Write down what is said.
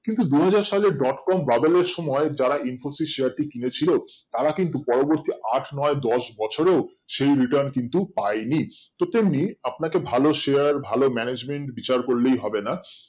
কিন্তু দুহাজার সালে Dot com bubble এর সময় যারা infosys share টি কিনেছিলো তারা কিন্তু পরবর্তী আট নয় দশ বছরেও সেই Return কিন্তু পাইনি তো তেমনি আপনাকে ভালো Share ভালো Management বিচার করলেই হবে না